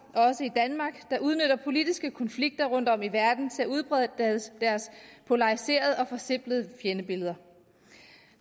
der udnytter politiske konflikter rundtom i verden til at udbrede deres polariserede og forsimplede fjendebilleder